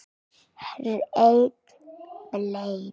Hrein bleia